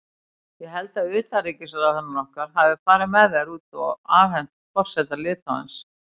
Ég held að utanríkisráðherrann okkar hafi farið með þær út og afhent forseta Litháens.